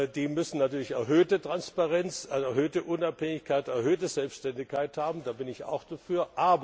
Die müssen natürlich erhöhte Transparenz, erhöhte Unabhängigkeit, erhöhte Selbständigkeit haben, da bin ich auch dafür.